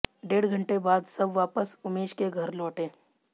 डेढ़ घंटे बाद सब वापस उमेश के घर लौटे